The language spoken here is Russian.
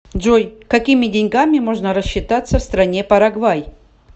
джой какими деньгами можно рассчитаться в стране парагвай